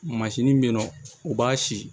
Mansin bɛ yen nɔ u b'a si